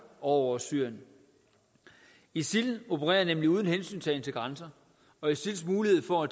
og syrien isil opererer nemlig uden hensyntagen til grænser og isils mulighed for